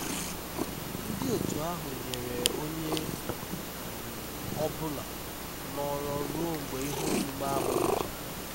ndị otu ahụ nyere onye um ọ bụla nọrọ ruo mgbe ihe omume ahụ gwụchara